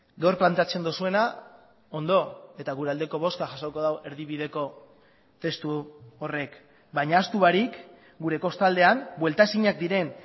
gaur planteatzen duzuena ondo eta gure aldeko bozka jasoko du erdibideko testu horrek baina ahaztu barik gure kostaldean buelta ezinak diren